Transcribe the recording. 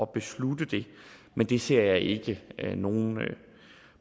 beslutte det men det ser jeg ikke nogen